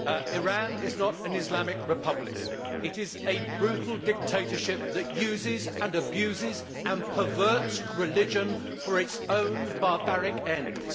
Iran is not an Islamic republic it is a brutal dictatorship that uses and abuses and perverts religion for its own barbaric ends.